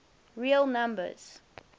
real numbers